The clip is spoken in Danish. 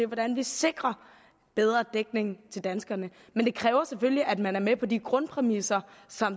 hvordan vi sikrer bedre dækning til danskerne men det kræver selvfølgelig at man er med på de grundpræmisser